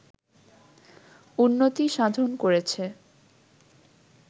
উন্নতি সাধন করেছে